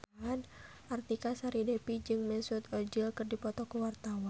Artika Sari Devi jeung Mesut Ozil keur dipoto ku wartawan